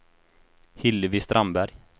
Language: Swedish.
Hillevi Strandberg